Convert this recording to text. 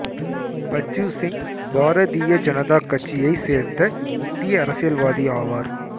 பச்சு சிங் பாரதீய ஜனதா கட்சியைச் சேர்ந்த இந்திய அரசியல்வாதி ஆவார்